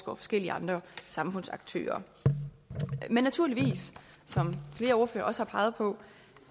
og forskellige andre samfundsaktører men naturligvis som flere ordførere også har peget på